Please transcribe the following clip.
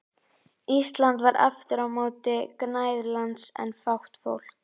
Íslandi var aftur á móti gnægð lands en fátt fólk.